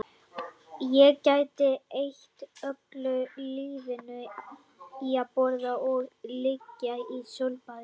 Ég gæti eytt öllu lífinu í að borða og liggja í sólbaði